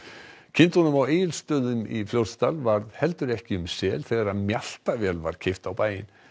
kindunum á Egilsstöðum í Fljótsdal varð heldur ekki um sel þegar mjaltavél var keypt á bæinn